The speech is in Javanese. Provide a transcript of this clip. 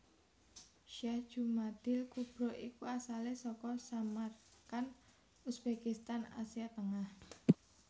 Syekh Jumadil kubro iku asalé saka Samarkand Uzbekistan Asia Tengah